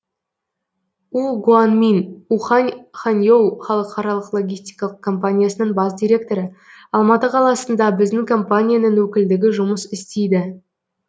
у гуанмин ухань ханьоу халықаралық логистикалық компаниясының бас директоры алматы қаласында біздің компанияның өкілдігі жұмыс істейді